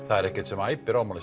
það er ekkert sem æpir á mann